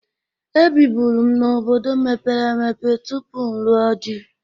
Ebibụru m n'obodo mepere emepe tupu m lụọ dị.